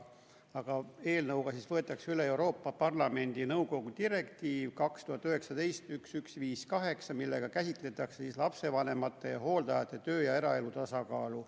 Aga eelnõuga võetakse üle Euroopa Parlamendi ja nõukogu direktiiv 2019/1158, millega käsitletakse lapsevanemate ja hooldajate töö- ja eraelu tasakaalu.